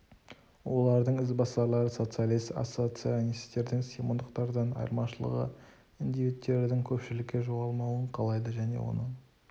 олардың ізбасарлары социалист-ассоцианистердің симондықтардан айырмашылығы индивидтердің көпшілікте жоғалмауын қалайды және оның